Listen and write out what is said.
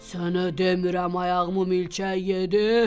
Sənə demirəm ayağımı milçək yedi.